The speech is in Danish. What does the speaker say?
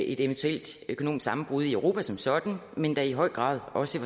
et eventuelt økonomisk sammenbrud i europa som sådan men da i høj grad også i